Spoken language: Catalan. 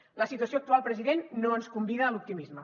la situació actual president no ens convida a l’optimisme